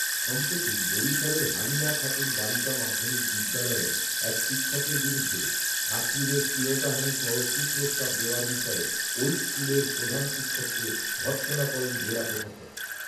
সম্প্রতি বরিশালের হালিমা খাতুন বালিকা মাধ্যমিক বিদ্যালয়ের এক শিক্ষকের বিরুদ্ধে ছাত্রীদের শ্লীলতাহানিসহ কুপ্রস্তাব দেওয়ার বিষয়ে ওই স্কুলের প্রধান শিক্ষককে ভর্ৎসনা করেন জেলা প্রশাসক